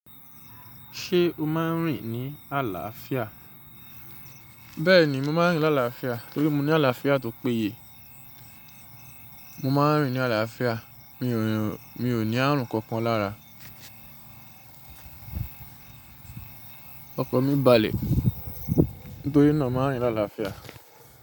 Ṣé o máa ń rìn ní àlàáfíà? Bẹ́ẹ̀ni, mo máa ń rìn láàláàáfíà torí mo ní àlàáfíà tó péye. Mo máa ń rìn ní àlàáfíà, mi ò ní ààrùn kankan lára. Ọkọ̀ mi balẹ̀, nítorí náà mo máa ń rìn láàlàáfíà.